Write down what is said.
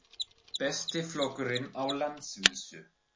Besti flokkurinn á landsvísu